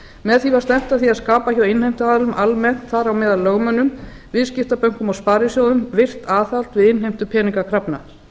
með því var stefnt að skapa hjá innheimtuaðilum almennt þar á meðal lögmönnum viðskiptabönkum og sparisjóðum virkt aðhald við innheimtu peningakrafna